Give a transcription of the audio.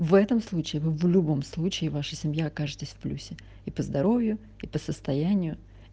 в этом случае вы в любом случае ваша семья окажетесь в плюсе и по здоровью и по состоянию